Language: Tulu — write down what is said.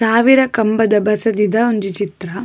ಸಾವಿರ ಕಂಬದ ಬಸದಿದ ಉಂಜಿ ಚಿತ್ರ.